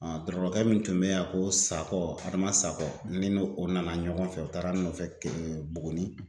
dɔrɔrɔkɛ min tun bɛ yan ko Sakɔ Adama Sackɔ ne n'o o nana ɲɔgɔn fɛ o taara n nofɛ kɛɛ Buguni